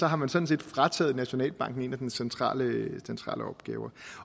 har man sådan set frataget nationalbanken en af dens centrale opgaver